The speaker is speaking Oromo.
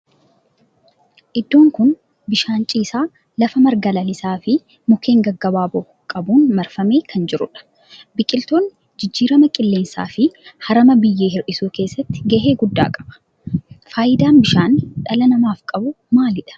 Iddoon kun bishaan ciisaa lafa marga lalisaa fi mukkeen gaggabaaboo qabun marfamee kan jirudha. Biqiltoonni jijjiirama qilleensaa fi harama biyyee hir'isuu keessatti gahee guddaa qaba. Faayidaan bishaan dhala namaaf qabu maalidha?